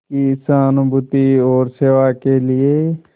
की सहानुभूति और सेवा के लिए